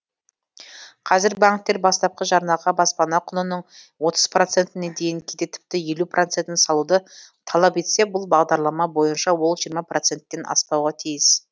қазір банктер бастапқы жарнаға баспана құнының отыз процентіне дейін кейде тіпті елу процентін салуды талап етсе бұл бағдарлама бойынша ол жиырма проценттен аспауға тиіс